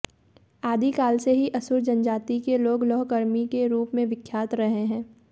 आदिकाल से ही असुर जनजाति के लोग लौहकर्मी के रूप में विख्यात रहे हैं